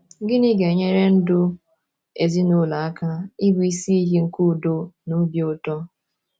Gịnị ga - enyere ndụ ezinụlọ aka ịbụ isi iyi nke udo na obi ụtọ?